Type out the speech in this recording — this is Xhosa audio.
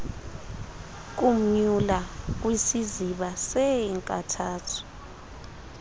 kumnyula kwisiziba seenkathazo